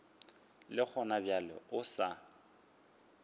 le gona bjale o sa